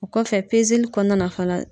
O kɔfɛ kɔnɔna na fana